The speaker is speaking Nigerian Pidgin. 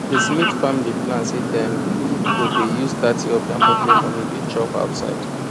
the smith family plan say dem go dey use thirty of their monthly money dey chop outside